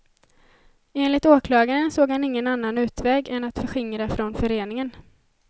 Enligt åklagaren såg han ingen annan utväg än att förskingra från föreningen.